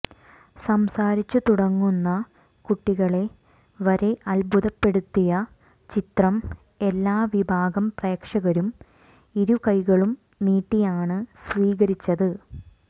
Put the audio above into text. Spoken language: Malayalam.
സംസാരിച്ചു തുടങ്ങുന്ന കുട്ടികളെ വരെ അത്ഭുതപ്പെടുത്തിയ ചിത്രം എല്ലാ വിഭാഗം പ്രേക്ഷകരും ഇരുകൈകളും നീട്ടിയാണ് സ്വീകരിച്ചത്